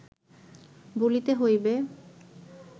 বলিতে হইবে